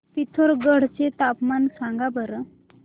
पिथोरगढ चे हवामान सांगा बरं